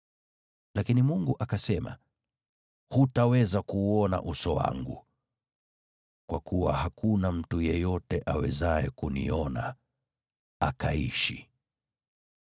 Lakini Mungu akasema, “Hutaweza kuuona uso wangu, kwa kuwa hakuna mtu yeyote awezaye kuniona akaishi.”